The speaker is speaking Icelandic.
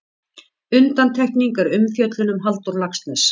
Undantekning er umfjöllun um Halldór Laxness.